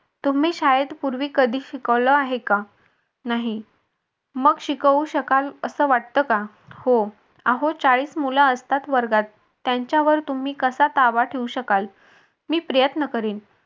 तुम्ही शाळेत पूर्वी कधी शिकवलं आहे का नाही मग शिकवू शकाल असं वाटत का हो अहो चाळीस मूल असतात वर्गात त्यांच्यावर तुम्ही कसा ताबा ठेऊ शकाल. मी प्रयत्न करीन.